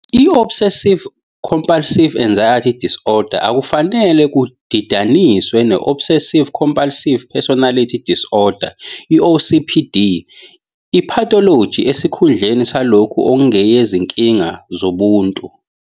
I-Obsessive-compulsive Anxiety Disorder akufanele kudidaniswe ne -Obsessive-Compulsive Personality Disorder, OCPD, i-pathology esikhundleni salokho okungeyezinkinga zobuntu.